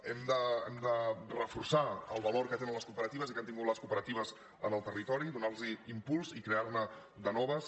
hem de reforçar el valor que tenen les cooperatives i que han tingut les cooperatives en el territori do·nar·los impuls i crear·ne de noves